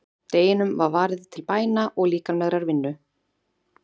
Deginum var varið til bæna og líkamlegrar vinnu.